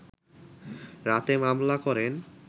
রাতে মামলা করেন